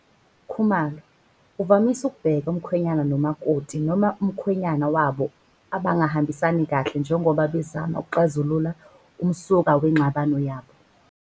Khumalo, uvamise ukubheka umkhwenyana nomakoti noma umkhwenyana wabo abangahambisani kahle njengoba bezama ukuxazulula umsuka wengxabano yabo.